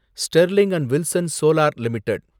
Sterling and Wilson Solar limited